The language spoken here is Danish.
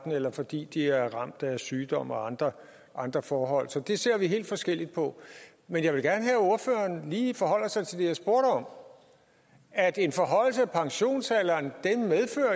eller fordi de er ramt af sygdom og andre andre forhold så det ser vi helt forskelligt på men jeg vil gerne have at ordføreren lige forholder sig til det jeg spurgte om at en forhøjelse af pensionsalderen